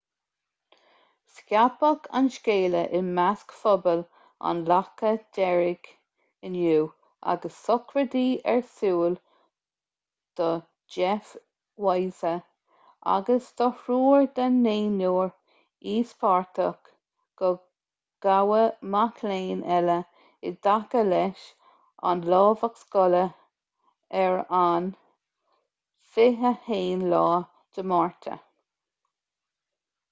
scaipeadh an scéala i measc phobal an locha dheirg inniu agus sochraidí ar siúl do jeff weise agus do thriúr den naonúr íospartach gur gabhadh mac léinn eile i dtaca leis an lámhach scoile ar an 21 márta